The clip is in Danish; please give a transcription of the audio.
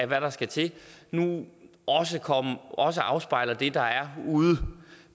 hvad der skal til nu også afspejler det der er ude